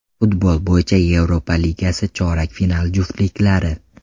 Futbol bo‘yicha Yevropa Ligasi chorak final juftliklari.